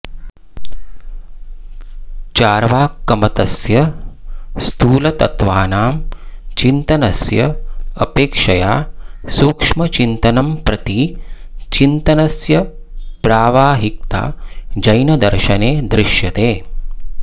चार्वाकमतस्य स्थूलतत्त्वानां चिन्तनस्य अपेक्षया सूक्ष्मचिन्तनं प्रति चिन्तनस्य प्रावाहिकता जैनदर्शने दृश्यते